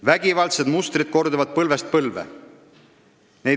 Vägivaldsed mustrid korduvad põlvest põlve.